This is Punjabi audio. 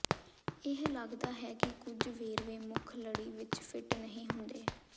ਇਹ ਲਗਦਾ ਹੈ ਕਿ ਕੁਝ ਵੇਰਵੇ ਮੁੱਖ ਲੜੀ ਵਿੱਚ ਫਿੱਟ ਨਹੀਂ ਹੁੰਦੇ